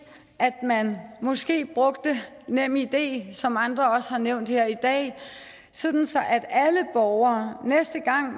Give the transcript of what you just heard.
at man måske brugte nemid som andre også har nævnt her i dag sådan at alle borgere næste gang